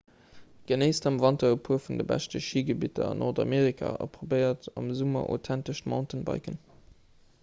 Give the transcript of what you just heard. genéisst am wanter e puer vun de beschte schigebidder an nordamerika a probéiert am summer authentescht mountainbiken